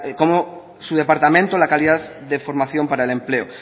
da la calidad de formación para el empleo